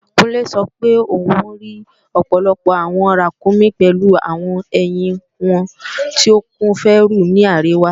Kúnlé sọ pé òún rí ọ̀pọ̀lọpọ̀ àwọn ràkúnmí pèlu àwọn ẹ̀hìn wọn tó kún fẹ́rù ní àríwá